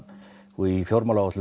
og í